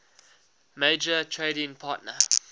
major trading partner